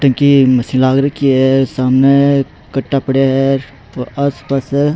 टंकी की मशीन लाग रखी है सामने कट्टा पड़ा है आस पास --